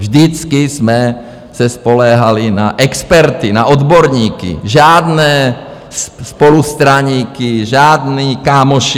Vždycky jsme se spoléhali na experty, na odborníky, žádné spolustraníky, žádní kámoši.